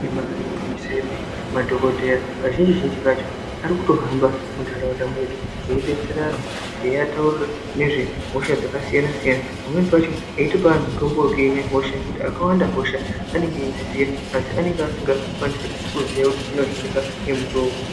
Ibari gwinyiso yemene madhogodheya kazhinji-zhinji kacho ari kutohamba munharaunda mwedu. Eidetsera antu eiataurira nezve hosha dzakasiyana-siyana. Pamweni pacho aitopa antu mutombo wekuhina hosha nekuti akawanda hosha anenge eidziziya, asi anenge asingakwanisi kuziya kuti dzinohinika ngemutoo upi.